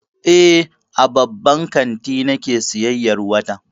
Eh, a babban kanti nake sayyayar wata.